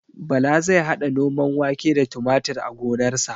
Bala zai haɗa noman wake da tumatir a gonarsa